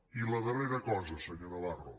i la darrera cosa senyor navarro